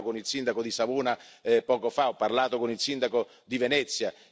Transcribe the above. Ho parlato con il sindaco di Savona poco fa, ho parlato con il sindaco di Venezia.